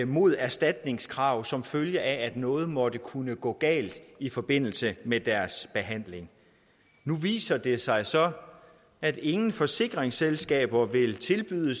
mod erstatningskrav som følge af at noget måtte kunne gå galt i forbindelse med deres behandling nu viser det sig så at ingen forsikringsselskaber vil tilbyde